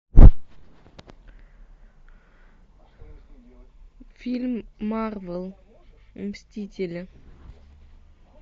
фильм марвел мстители